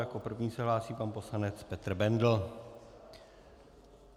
Jako první se hlásí pan poslanec Petr Bendl.